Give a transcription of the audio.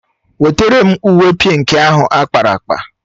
Nwetara m uwe pịnkị ahụ akpara akpa!